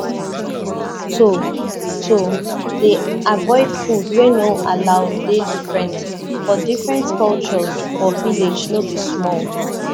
to to dey avoid food wey no allow dey different for different culture for village no be small